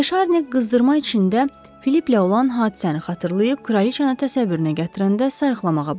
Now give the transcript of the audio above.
De Şarni qızdırma içində Filiplə olan hadisəni xatırlayıb Kraliçanı təsəvvürünə gətirəndə sayiqlamağa başladı.